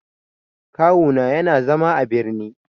Kawu na yana zama a birni.